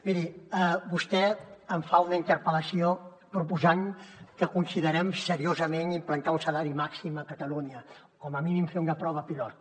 miri vostè em fa una interpel·lació proposant que considerem seriosament implantar un salari màxim a catalunya com a mínim fer una prova pilot